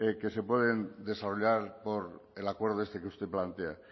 que se pueden desarrollar por el acuerdo que usted plantea